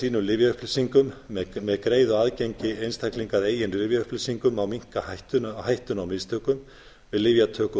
sínum lyfjaupplýsingum með greiða aðgengi einstaklinga að eigin lyfjaupplýsingum má minnka hættuna á mistökum við lyfjatöku og